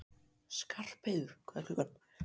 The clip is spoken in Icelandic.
Skarpheiður, hvað er klukkan?